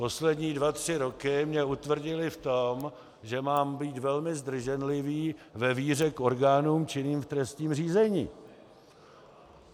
Poslední dva tři roky mě utvrdily v tom, že mám být velmi zdrženlivý ve víře k orgánům činným v trestním řízení.